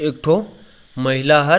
एक ठो महिला हर --